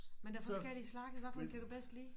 Men der er forskellige slags hvad for en kan du bedst lide